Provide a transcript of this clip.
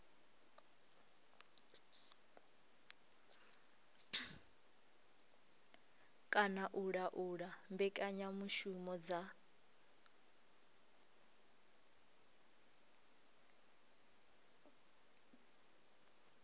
kana u laula mbekanyamushumo dza